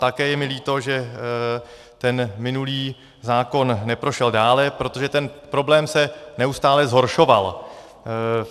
Také je mi líto, že ten minulý zákon neprošel dále, protože ten problém se neustále zhoršoval.